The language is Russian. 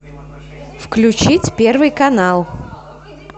включить первый канал